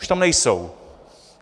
Už tam nejsou.